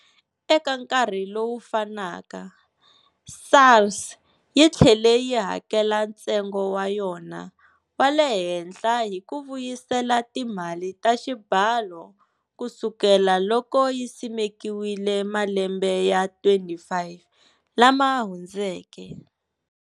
Eka nkarhi lowu fanaka, SARS yi tlhele yi hakela ntsengo wa yona wa le henhla hi ku vuyisela timali ta xibalo kusukela loko yi simekiwile malembe ya 25 lama hundzeke.